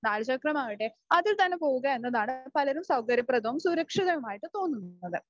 നാൽ ചക്രമാവട്ടെ അതിൽ തന്നെ പോവുക എന്നതാണ് പലരും സൗകര്യപ്രദവും സുരക്ഷിതവുമായിട്ട് തോന്നുന്നത്.